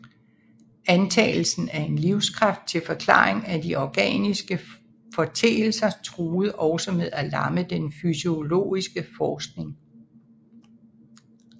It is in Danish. Antagelsen af en livskraft til forklaring af de organiske foreteelser truede også med at lamme den fysiologiske forskning